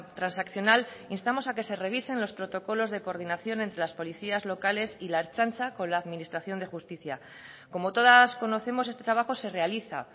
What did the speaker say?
transaccional instamos a que se revisen los protocolos de coordinación entre las policías locales y la ertzaintza con la administración de justicia como todas conocemos este trabajo se realiza